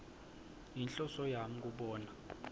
yinhloso yami kubona